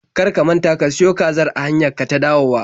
Kar ka manta ka siyo kazar a hanyar ka ta dawowa!